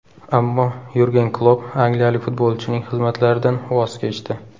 Ammo Yurgen Klopp angliyalik futbolchining xizmatlaridan voz kechdi.